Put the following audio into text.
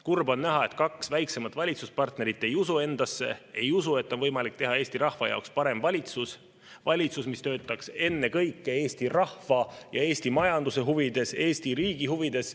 Kurb on näha, et kaks väiksemat valitsuspartnerit ei usu endasse, ei usu, et on võimalik teha Eesti rahva jaoks parem valitsus, valitsus, mis töötaks ennekõike Eesti rahva ja Eesti majanduse huvides, Eesti riigi huvides.